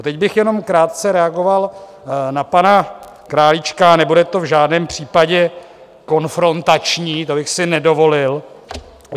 A teď bych jenom krátce reagoval na pana Králíčka, nebude to v žádném případě konfrontační, to bych si nedovolil.